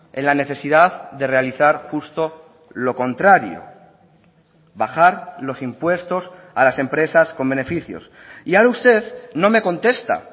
en la necesidad de realizar justo lo contrario bajar los impuestos a las empresas con beneficios y ahora usted no me contesta